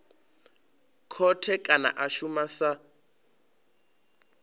khothe kana a shuma sa